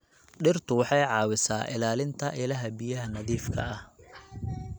Dhirtu waxay caawisaa ilaalinta ilaha biyaha nadiifka ah.